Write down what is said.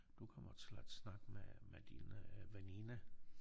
Du kommer til at snakke med med dine veninder